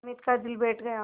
हामिद का दिल बैठ गया